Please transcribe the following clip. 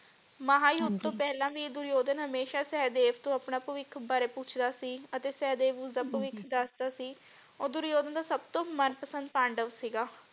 ਮਹਾਂਯੁੱਧ ਹਾਂਜੀ ਤੋਂ ਵੀ ਪਹਿਲਾ ਵੀ ਦੁਰਯੋਧਨ ਹਮੇਸ਼ਾ ਸਹਿਦੇਵ ਤੋਂ ਆਪਣੇ ਭਵਿੱਖ ਬਾਰੇ ਪੁੱਛਦਾ ਸੀ ਅਤੇ ਸਹਿਦੇਵ ਉਸਦਾ ਭਵਿੱਖ ਹਾਂਜੀ ਦਸਦਾ ਸੀ ਉਹ ਦੁਰਯੋਧਨ ਦਾ ਸਬਤੋ ਮਨਪਸੰਦ ਪਾਂਡਵ ਸੀਗਾ।